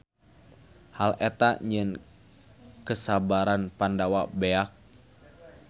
Hal eta nyieun kesabaran Pandawa beak.